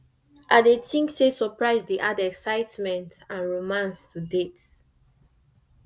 i dey think say surprise dey add excitement and romance to dates